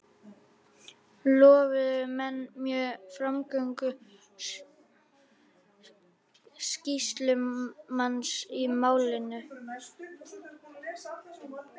Lofuðu menn mjög framgöngu sýslumanns í málinu.